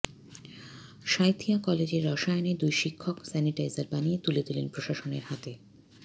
সাঁইথিয়া কলেজের রসায়নের দুই শিক্ষক স্যানিটাইজার বানিয়ে তুলে দিলেন প্রশাসনের হাতে